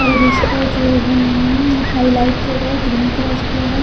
और इसका जो उम्म हाईलाइट किया गया है ग्रीन कलर से किया गया है।